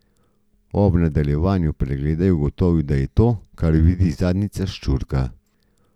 Ob nadaljevanju pregleda je ugotovil, da je to, kar vidi, zadnjica ščurka.